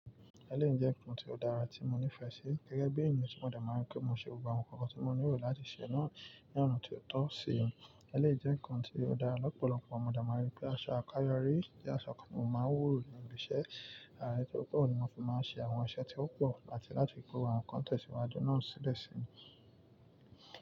Ẹléyi jẹ́ ǹkan tí ó dára tí mo nífẹ̀ẹ́ sí gẹ́gẹ́ bí ènìyàn tí mo de máa ń ri pé mo ṣe gbogbo àwọn nǹkan tí mo nílò láti ṣe náà ní ọ̀nà tó tọ́ sí i. Ẹléyi jẹ́ ǹkan tí ó dára lọ́pọ̀lọpọ̀ mo dé màa ń rí pé aṣọ àkáyọrí jẹ́ aṣọ kan tí mó máa ń wò ní ìgbẹ́ṣẹ̀, àrà ètò púpọ̀ ni mo fi máa ń ṣe àwọn iṣẹ́ tí ó pọ̀ áti láti gbé àwọn kan tẹ̀ sì wájùú náà sílẹ̀ sí i.